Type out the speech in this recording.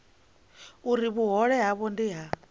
uri vhuhole havho ndi ha